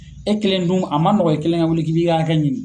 E kelen dun a man nɔgɔ e kelen ka wuli k'i ki ka hakɛ ɲini.